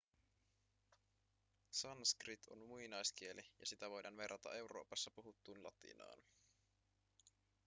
sanskrit on muinaiskieli ja sitä voidaan verrata euroopassa puhuttuun latinaan